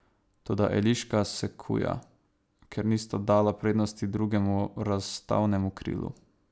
Toda Eliška se kuja, ker nista dala prednosti drugemu razstavnemu krilu.